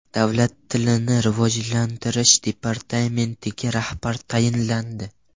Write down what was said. Davlat tilini rivojlantirish departamentiga rahbar tayinlandi.